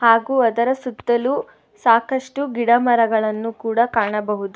ಹಾಗು ಅದರ ಸುತ್ತಲು ಸಾಕಷ್ಟು ಗಿಡ ಮರಗಳನ್ನು ಕೂಡ ಕಾಣಬಹುದು.